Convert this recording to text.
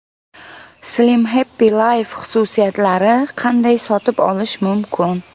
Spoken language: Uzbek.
Slim Happy Life xususiyatlari: Qanday sotib olish mumkin?